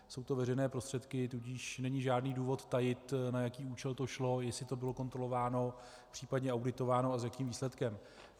Jsou to veřejné prostředky, tudíž není žádný důvod tajit, na jaký účel to šlo, jestli to bylo kontrolováno, případně auditováno, a s jakým výsledkem.